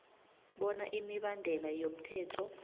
bona imibandela yomthetho